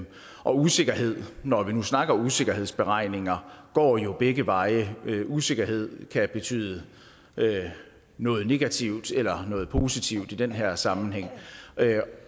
og usikkerhed når vi nu snakker om usikkerhedsberegninger går jo begge veje usikkerhed kan betyde noget negativt eller noget positivt i den her sammenhæng